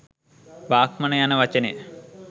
බ්‍රාහ්මණ යන වචනය